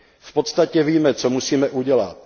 V podstatě víme, co musíme udělat.